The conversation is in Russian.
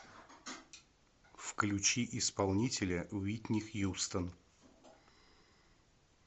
включи исполнителя уитни хьюстон